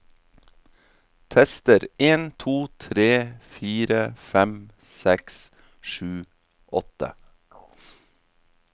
Tester en to tre fire fem seks sju åtte